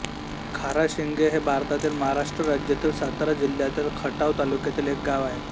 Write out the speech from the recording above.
खाराशिंगे हे भारतातील महाराष्ट्र राज्यातील सातारा जिल्ह्यातील खटाव तालुक्यातील एक गाव आहे